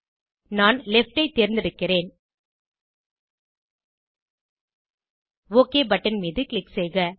நான் லெஃப்ட் ஐ தேர்ந்தெடுக்கிறேன் ஒக் பட்டன் மீது க்ளிக் செய்க